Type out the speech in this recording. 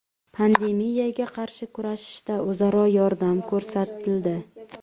Pandemiyaga qarshi kurashishda o‘zaro yordam ko‘rsatildi.